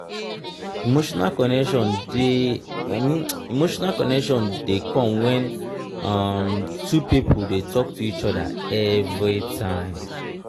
emotional connection de emotional connection de come when um two pipo de talk to each other everytime